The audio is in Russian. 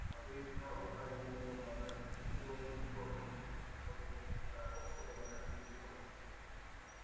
подоив коров ранним утром батраки ушли ловить кроликов не позаботившись о том чтобы накормить животных